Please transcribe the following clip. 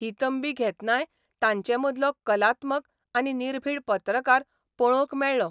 ही तंबी घेतनाय तांचे मदलो कलात्मक आनी निर्भिड पत्रकार पळोवंक मेळ्ळो.